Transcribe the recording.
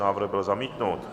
Návrh byl zamítnut.